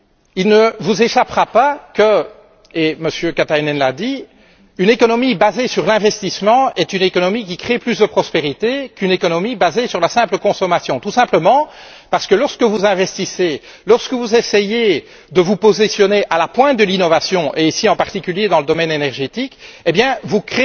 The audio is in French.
Il ne vous échappera pas, et M. Katainen l'a dit, qu'une économie basée sur l'investissement est une économie qui crée plus de prospérité qu'une économie basée sur la simple consommation. Tout simplement, parce que lorsque vous investissez, lorsque que vous essayez de vous positionner à la pointe de l'innovation, et ici en particulier dans le domaine énergétique, eh bien vous